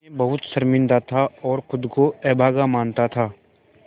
मैं बहुत शर्मिंदा था और ख़ुद को अभागा मानता था